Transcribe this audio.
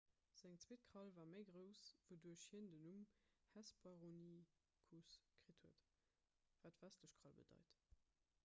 seng zweet krall war méi grouss wouduerch hien den numm hesperonychus kritt huet wat westlech krall bedeit